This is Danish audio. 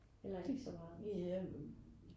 Eller er det ikke så meget?